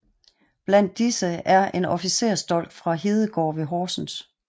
Blandt disse er en officersdolk fra Hedegård ved Horsens